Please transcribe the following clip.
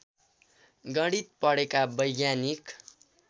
गणित पढेका वैज्ञानिक